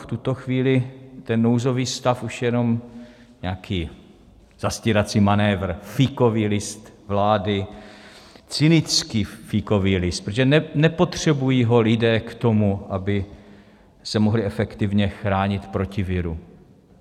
V tuto chvíli je nouzový stav už jenom nějaký zastírací manévr, fíkový list vlády, cynický fíkový list, protože nepotřebují ho lidé k tomu, aby se mohli efektivně chránit proti viru.